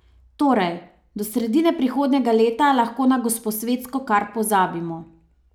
Torej, do sredine prihodnjega leta lahko na Gosposvetsko kar pozabimo.